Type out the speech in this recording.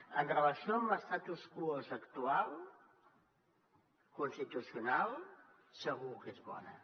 amb relació a l’statu quo actual constitucional segur que és bona